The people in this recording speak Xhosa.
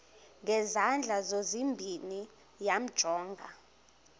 ngezandla zozibini yamjonga